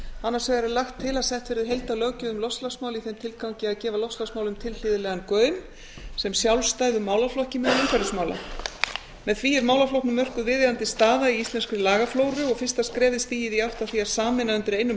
annars vegar er lagt til að sett verði heildarlöggjöf um loftslagsmál í þeim tilgangi að gefa loftslagsmálum tilhlýðilegan gaum sem sjálfstæðum málaflokki meðal umhverfismála með því er málaflokknum mörkuð viðeigandi staða í íslenskri lagaflóru og fyrsta skrefið stigið í átt að því að sameina undir einum